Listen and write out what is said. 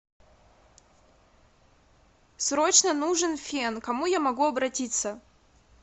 срочно нужен фен к кому я могу обратиться